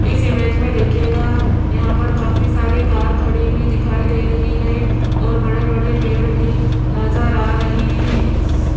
इस इमेज में देखिएगा यहाँ पर काफी सारी कार खड़ी हुई दिखाई दे रही हैं और बड़े बड़े पेड़ भी नजर आ रहे हैं।